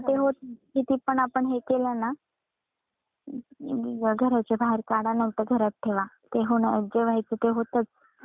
किती पण आपण हे केल ना घरच्या बाहेर काढा नाही तर घरात ठेवा ते होणार जे व्हायच ते होतच